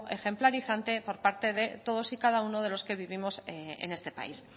ejemplarizante por parte de todos y cada uno de los que vivimos en este país